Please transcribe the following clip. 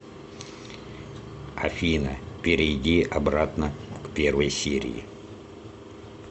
афина перейди обратно к первой серии